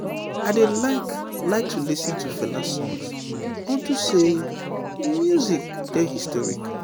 i dey like like to lis ten to fela songs unto say im music dey historic